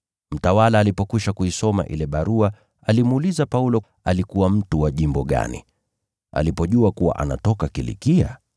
Mtawala alipokwisha kuisoma ile barua alimuuliza Paulo alikuwa mtu wa jimbo gani. Alipojua kuwa anatoka Kilikia,